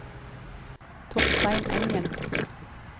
Torstein Engen